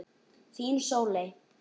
Þín, Sóley.